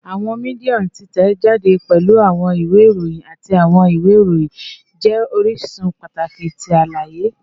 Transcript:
Awọn media titẹjade, pẹlu awọn iwe iroyin ati awọn iwe iroyin, jẹ orisun pataki ti alaye